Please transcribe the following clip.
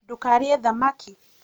ndũkarĩe thamaki